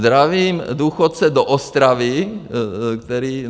Zdravím důchodce do Ostravy, který...